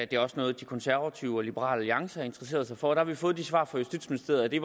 det er også noget de konservative og liberal alliance har interesseret sig for og der har vi fået det svar fra justitsministeriet at det